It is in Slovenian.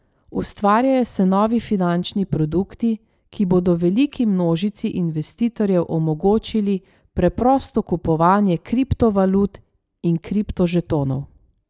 Ustvarjajo se novi finančni produkti, ki bodo veliki množici investitorjev omogočili preprosto kupovanje kriptovalut in kriptožetonov.